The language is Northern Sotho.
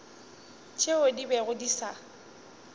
tšeo di bego di sa